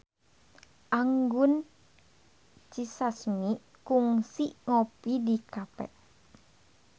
Anggun C. Sasmi kungsi ngopi di cafe